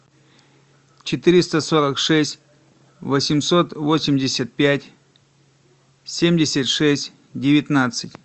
четыреста сорок шесть восемьсот восемьдесят пять семьдесят шесть девятнадцать